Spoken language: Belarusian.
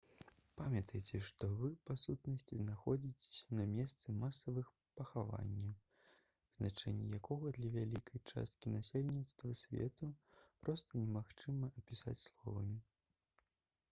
памятайце што вы па сутнасці знаходзіцеся на месцы масавых пахаванняў значэнне якога для вялікай часткі насельніцтва свету проста немагчыма апісаць словамі